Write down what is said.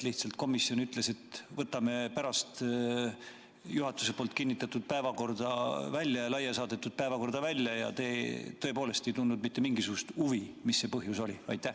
Lihtsalt komisjon ütles, et võtame juhatuse kinnitatud ja laia saadetud päevakorrast need punktid välja, ja te tõepoolest ei tundnud mitte mingisugust huvi, mis see põhjus oli?